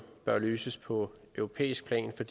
bør løses på europæisk plan for